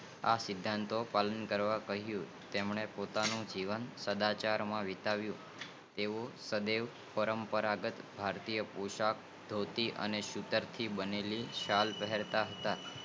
આ સિદ્ધાંતો નું પાલન કરવા નું કહિયુ તેમને પોતાનું જીવન સદાય પરંપરાગત ભારતીય પોશાક ધોતી અને સૂતક થી બનેલ શાલ પહેરતા હતા